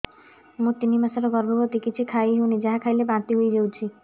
ମୁଁ ତିନି ମାସର ଗର୍ଭବତୀ କିଛି ଖାଇ ହେଉନି ଯାହା ଖାଇଲେ ବାନ୍ତି ହୋଇଯାଉଛି